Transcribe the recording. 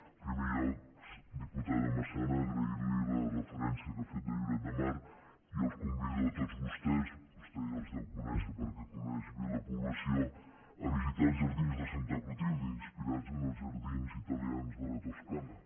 en primer lloc diputada massana agrair li la referència que ha fet de lloret de mar i els convido a tots vostès vostè ja els deu conèixer perquè coneix bé la població a visitar els jardins de santa clotilde inspirats en els jardins italians de la toscana